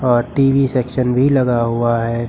और TV section भी लगा हुआ है।